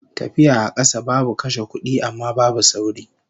Tafiya a kasa babu kashe kudi, amma babu sauri